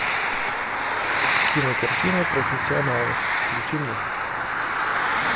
кинокартина профессионалы включи мне